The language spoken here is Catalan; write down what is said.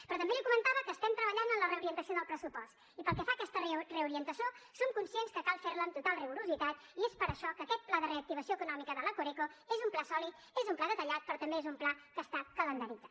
però també li comentava que estem treballant en la reorientació del pressupost i pel que fa a aquesta reorientació som conscients que cal fer la amb total rigorositat i és per això que aquest pla de reactivació econòmica de la coreco és un pla sòlid és un pla detallat però també és un pla que està calendaritzat